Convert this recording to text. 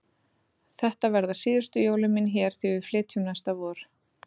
Þetta verða síðustu jólin mín hér því við flytjum næsta vor.